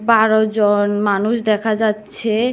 বারো জন মানুষ দেখা যাচ্ছে।